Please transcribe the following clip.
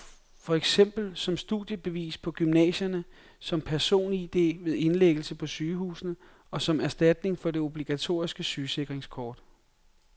For eksempel som studiebevis på gymnasierne, som personID ved indlæggelse på sygehusene, og som erstatning for det obligatoriske sygesikringskort.